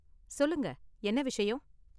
சொல்லுங்க, என்ன விஷயம்?